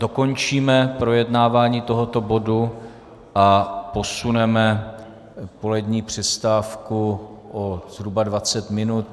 Dokončíme projednáváme tohoto bodu a posuneme polední přestávku o zhruba 20 minut.